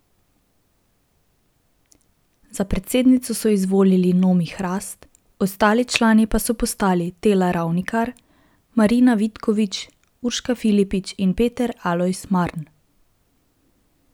Za predsednico so izvolili Nomi Hrast, ostali člani pa so postali Tela Ravnikar, Marina Vitković, Urška Filipič in Peter Alojz Marn.